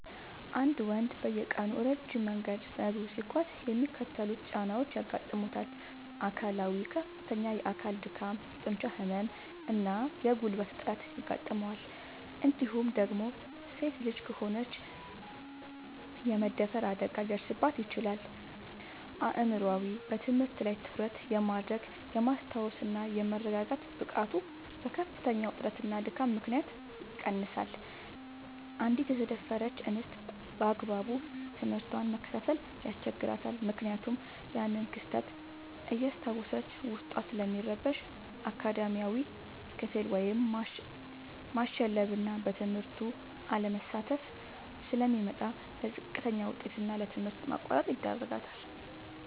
አንድ ልጅ በየቀኑ ረጅም መንገድ በእግሩ ሲጓዝ የሚከተሉት ጫናዎች ያጋጥሙታል፦ አካላዊ፦ ከፍተኛ የአካል ድካም፣ የጡንቻ ህመም እና የጉልበት እጥረት ያጋጥመዋል እንዲሁም ደግሞ ሴት ልጅ ከሆነች የመደፈር አደጋ ሊደርስባት ይችላል። አእምሯዊ፦ በትምህርት ላይ ትኩረት የማድረግ፣ የማስታወስ እና የመረጋጋት ብቃቱ በከፍተኛ ውጥረትና ድካም ምክንያት ይቀንሳል: አንዲት የተደፈረች እንስት ባግባቡ ትምህርቷን መከታተል ያስቸግራታል ምክንያቱም ያንን ክስተት እያስታወሰች ዉስጧ ስለሚረበሽ። አካዳሚያዊ፦ ክፍል ውስጥ ማሸለብና በትምህርቱ አለመሳተፍ ስለሚመጣ: ለዝቅተኛ ውጤት እና ለትምህርት ማቋረጥ ይዳረጋል።